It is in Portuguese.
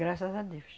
Graças a Deus.